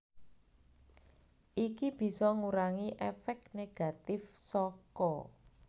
Iki bisa ngurangi èfék negatif saka